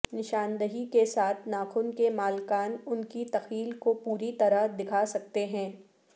نشاندہی کے ساتھ ناخن کے مالکان ان کی تخیل کو پوری طرح دکھا سکتے ہیں